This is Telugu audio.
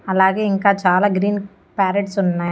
అలాగే ఇంకా చాలా గ్రీన్ ప్యారెట్స్ ఉన్నాయ్.